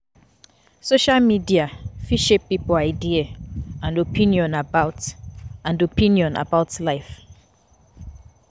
Social media fit shape pipo idea and opinion about and opinion about life